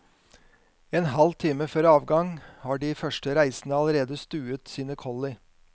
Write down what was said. En halv time før avgang har de første reisende allerede stuet sine kolli.